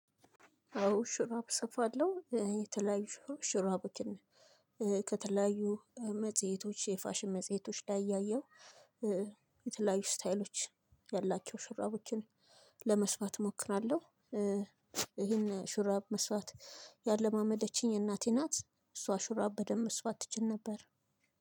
አዎ ሹራብ እሰፍለሁ የተለያዩ ሹራቦችን ከተለያዩ መጽሄቶች የፍሽን መጽሄቶች ላይ እያየሁ የተለያዩ እስታይሎችን ያላቸው ሹራቦችን ለመስፍት እሞክራለሁ። ይሄን ሹራብ መስፍት ያላመደችኝ እናቴ ናት። እሷ ሹራብ በደንብ መስፍት ትችል ነበር።